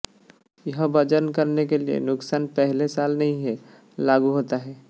यह वजन करने के लिए नुकसान पहले साल नहीं है लागू होता है